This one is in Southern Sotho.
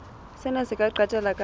sena se ka qetella ka